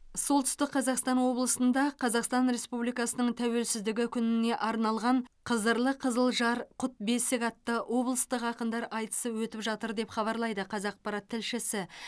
солтүстік қазақстан облысында қазақстан республикасының тәуелсіздігі күніне арналған қызырлы қызылжар құт бесік атты облыстық ақындар айтысы өтіп жатыр деп хабарлайды қазақпарат тілшісі